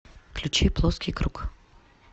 включи плоский круг